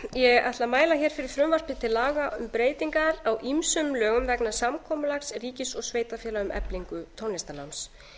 ég ætla að mæla hér fyrir frumvarpi til laga um breytingar á ýmsum lögum vegna samkomulags ríkis og sveitarfélaga um eflingu tónlistarnáms